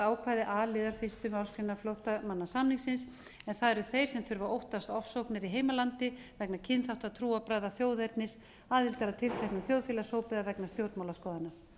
ákvæði a liðar fyrstu grein flóttamannasamningsins en það eru þeir sem þurfa að óttast ofsóknir í heimalandi vegna kynþátta trúarbragða þjóðernis aðildar að tilteknum þjóðfélagshópi eða vegna stjórnmálaskoðana